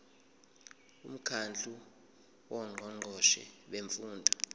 umkhandlu wongqongqoshe bemfundo